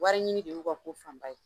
Wari ɲini de y'u ka ko fan ba ye.